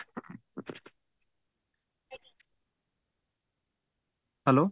hello